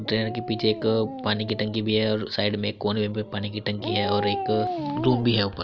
Train के पीछे एक पानी की टंकी भी है और साइड में एक कोने में पानी की टंकी है और एक रूम भी है ऊपर।